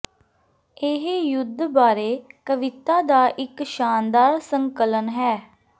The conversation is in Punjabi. ਇਹ ਯੁੱਧ ਬਾਰੇ ਕਵਿਤਾ ਦਾ ਇਕ ਸ਼ਾਨਦਾਰ ਸੰਕਲਨ ਹੈ